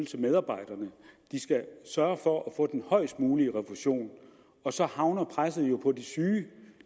til medarbejderne at de skal sørge for at få den højst mulige refusion og så havner presset jo på de syge